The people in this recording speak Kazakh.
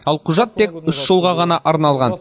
ал құжат тек үш жылға ғана арналған